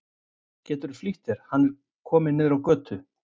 Geturðu flýtt þér. hann er kominn niður á götu!